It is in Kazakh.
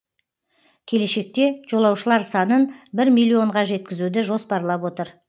келешекте жолаушылар санын бір миллионға жеткізуді жоспарлап отыр